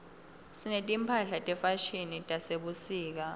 sineti mphahla tefashini tasebusika